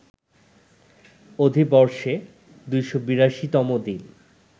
অধিবর্ষে ২৮২ তম দিন